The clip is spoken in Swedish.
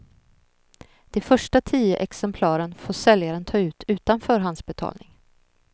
De första tio exemplaren får säljaren ta ut utan förhandsbetalning.